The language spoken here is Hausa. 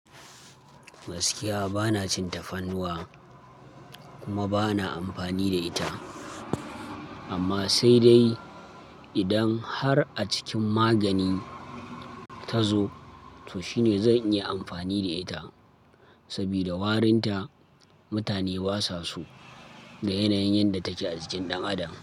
Gaskiya bana cin tafarnuwa kuma bana amfani da ita. Amma sai dai idan har a cikin magani ta zo, to shine zan iya amfani da ita. Saboda warinta mutane basa so da yanayin yadda take a cikin ɗan adam.